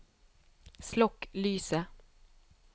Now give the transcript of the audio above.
slokk lyset